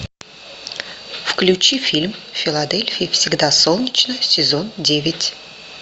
включи фильм в филадельфии всегда солнечно сезон девять